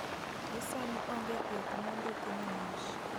Gi sani onge thieth mondiki ne NASH